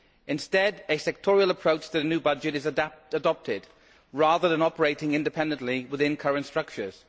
Instead, a sectoral approach to the new budget is adopted rather than operating independently within current structures.